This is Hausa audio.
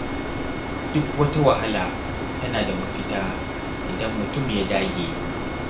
Duk wata wahala tana da mafita idan mutum ya dage.